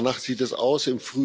Danach sieht es aus.